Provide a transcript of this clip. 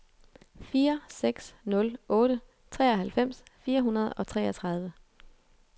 fire seks nul otte treoghalvfems fire hundrede og treogtredive